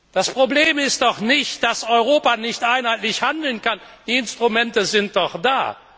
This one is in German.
Das Problem ist doch nicht, dass Europa nicht einheitlich handeln kann. Die Instrumente sind doch